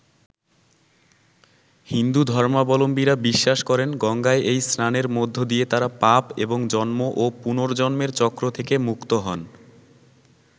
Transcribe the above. হিন্দু ধর্মাবলম্বীরা বিশ্বাস করেন গঙ্গায় এই স্নানের মধ্য দিয়ে তাঁরা পাপ এবং জন্ম ও পুনর্জন্মের চক্র থেকে মুক্ত হন।